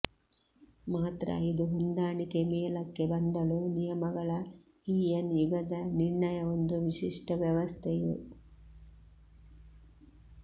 ಮಾತ್ರ ಇದು ಹೊಂದಾಣಿಕೆ ಮೇಲಕ್ಕೆ ಬಂದಳು ನಿಯಮಗಳ ಹೀಯನ್ ಯುಗದ ನಿರ್ಣಯ ಒಂದು ವಿಶಿಷ್ಟ ವ್ಯವಸ್ಥೆಯು